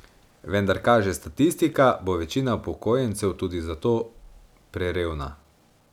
Vendar, kaže statistika, bo večina upokojencev tudi za to prerevna.